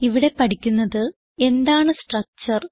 ഇവിടെ പഠിക്കുന്നത് എന്താണ് സ്ട്രക്ചർ